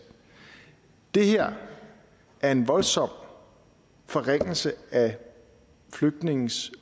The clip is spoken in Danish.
det her er en voldsom forringelse af flygtninges